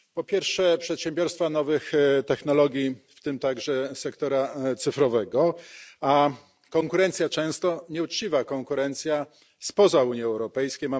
Po pierwsze, przedsiębiorstwa nowych technologii, w tym także sektora cyfrowego, a konkurencja, często nieuczciwa konkurencja, spoza Unii Europejskiej.